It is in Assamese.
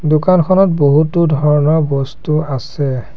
দোকানখনত বহুতো ধৰণৰ বস্তু আছে।